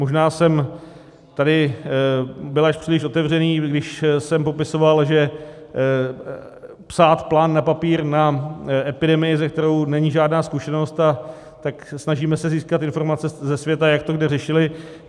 Možná jsem tady byl až příliš otevřený, když jsem popisoval, že psát plán na papír na epidemii, se kterou není žádná zkušenost, tak se snažíme získat informace ze světa, jak to kde řešili.